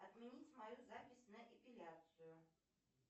отменить мою запись на эпиляцию